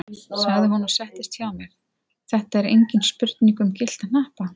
sagði hún og settist hjá mér, þetta er engin spurning um gyllta hnappa!